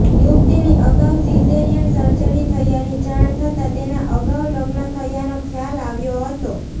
યુવતીની અગાઉ caesarean surgery થયાની જાણ થતા તેના અગાઉ લગ્ન થયાનો ખ્યાલ આવ્યો હતો